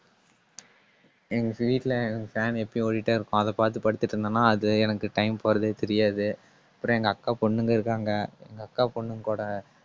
எங்க வீட்டுல fan எப்படியும் ஓடிட்டே இருக்கும். அதைப் பாத்து படுத்துட்டிருந்தேன்னா அது எனக்கு time போறதே தெரியாது. அப்பறம் எங்க அக்கா பொண்ணுங்க இருக்காங்க அக்கா பொண்ணுங்க கூட